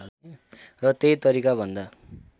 र त्यहि तरिका भन्दा